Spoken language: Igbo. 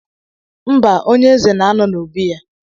Mba, onye eze na-anọ n'obi ya